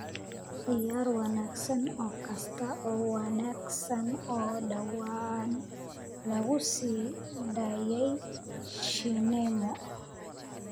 ciyaar wanaagsan oo kasta oo wanaagsan oo dhawaan lagu sii daayay shineemo